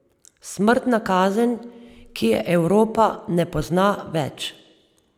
Smrtna kazen, ki je Evropa ne pozna več.